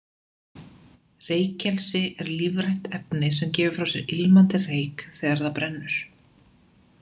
Reykelsi er lífrænt efni sem gefur frá sér ilmandi reyk þegar það brennur.